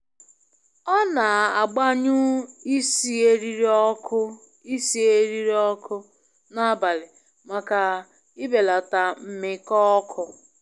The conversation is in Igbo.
Ọ na-agbanyụ isi eriri ọkụ isi eriri ọkụ n'abalị maka ibelata mmiko oku